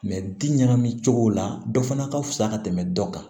bin ɲagami cogo la dɔ fana ka fusa ka tɛmɛ dɔ kan